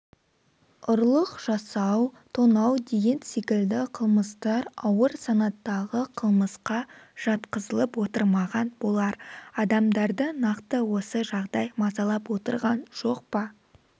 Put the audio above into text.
ұрлық жасау тонау деген секілді қылмыстар ауыр санаттағы қылмысқа жатқызылып отырмаған болар адамдарды нақты осы жағдай мазалап отырған жоқ па